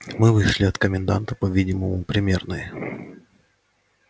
мы вышли от коменданта по-видимому примерные